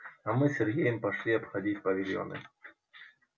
а мы с сергеем пошли обходить павильоны